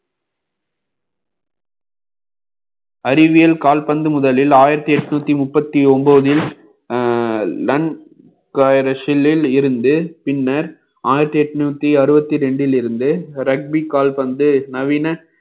அறிவியல் கால்பந்து முதலில் ஆயிரத்தி எட்நூத்தி முப்பத்தி ஒன்பதில் அஹ் லன் காயிற சில்லில் இருந்து பின்னர் ஆயிரத்தி எட்ணூத்தி அறுபத்தி இரண்டிலிருந்து கால்பந்து நவீன